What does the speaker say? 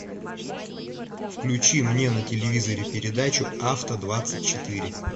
включи мне на телевизоре передачу авто двадцать четыре